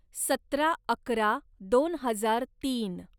सतरा अकरा दोन हजार तीन